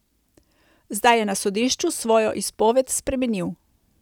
Zdaj je na sodišču svojo izpoved spremenil.